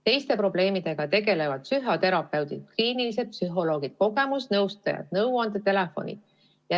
Teiste probleemidega tegelevad psühhoterapeudid, kliinilised psühholoogid, kogemusnõustajad, nõuandetelefonid.